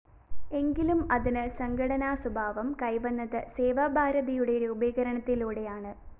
എങ്കിലും അതിനു സംഘടനാസ്വഭാവം കൈവന്നത് സേവാഭാരതിയുടെ രൂപീകരണത്തിലൂടെയാണ്